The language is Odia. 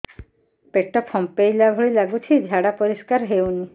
ପେଟ ଫମ୍ପେଇଲା ଭଳି ଲାଗୁଛି ଝାଡା ପରିସ୍କାର ହେଉନି